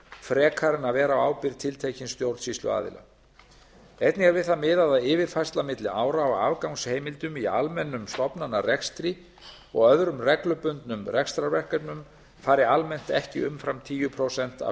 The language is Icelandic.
frekar en að vera á ábyrgð tiltekins stjórnsýsluaðila einnig er við það miðað að yfirfærsla milli ára á afgangsheimildum í almennum stofnanarekstri og öðrum reglubundnum rekstrarverkefnum fari almennt ekki umfram tíu prósent af